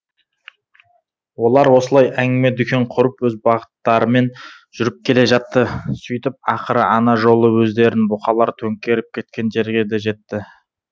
олар осылай әңгіме дүкен құрып өз бағыттарымен жүріп келе жатты сөйтіп ақыры ана жолы өздерін бұқалар төңкеріп кеткен жерге де жетті